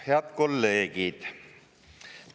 Head kolleegid!